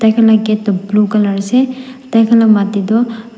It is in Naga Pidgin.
gate tu blue colour ase tai khan or mati tu--